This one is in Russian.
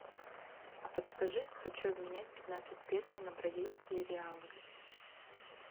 а подскажи хочу обменять пятнадцать песо на бразильские реалы